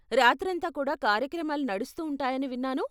రాత్రంతా కూడా కార్యక్రమాలు నడుస్తూ ఉంటాయని విన్నాను?